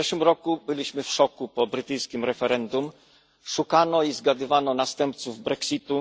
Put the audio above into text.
W zeszłym roku byliśmy w szoku po brytyjskim referendum, szukano i zgadywano następców brexitu.